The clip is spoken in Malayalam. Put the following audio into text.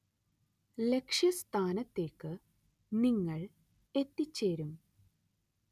ലക്ഷ്യസ്ഥാനത്തേക്ക് നിങ്ങൾ എത്തിച്ചേരും.